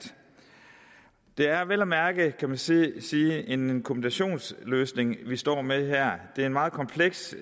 det er vel at mærke kan man sige sige en kombinationsløsning vi står med her det er et meget komplekst